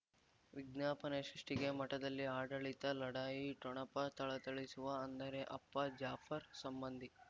ವಿಜ್ಞಾಪನೆ ಸೃಷ್ಟಿಗೆ ಮಠದಲ್ಲಿ ಆಡಳಿತ ಲಢಾಯಿ ಠೊಣಪ ಥಳಥಳಿಸುವ ಅಂದರೆ ಅಪ್ಪ ಜಾಫರ್ ಸಂಬಂಧಿ